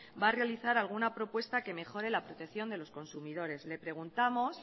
va a realizar alguna propuesta que mejore la protección de los consumidores le preguntamos